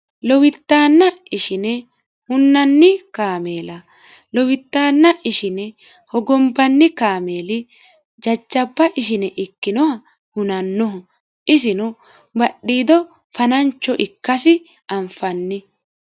lowiddaanna ishine hunnanni kaameela lowiddaanna ishine hogombanni kaameeli jajjaba ishine ikkinoha hunannoho isino badhiido fanancho ikkasi anfanni